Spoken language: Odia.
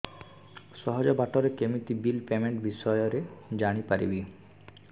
ସହଜ ବାଟ ରେ କେମିତି ବିଲ୍ ପେମେଣ୍ଟ ବିଷୟ ରେ ଜାଣି ପାରିବି